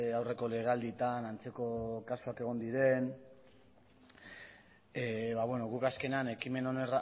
aurreko legealdietan antzeko kasuak egon diren guk azkenean ekimen honen